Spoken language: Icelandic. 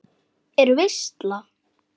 Er veisla?